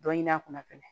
Dɔ ɲini a kunna fɛnɛ